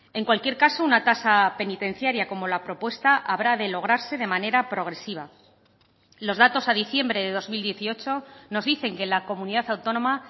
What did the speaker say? en cualquier caso una tasa penitenciaria como la propuesta habrá de lograrse de manera progresiva los datos a diciembre de dos mil dieciocho nos dicen que la comunidad autónoma